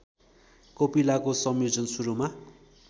कोपिलाको संयोजन सुरूमा